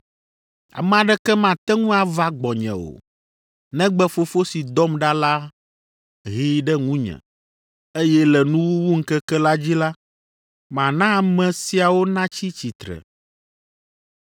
Ame aɖeke mate ŋu ava gbɔnye o, negbe Fofo si dɔm ɖa la hee ɖe ŋunye, eye le nuwuwuŋkeke la dzi la, mana ame siawo natsi tsitre.